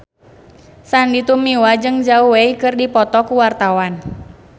Sandy Tumiwa jeung Zhao Wei keur dipoto ku wartawan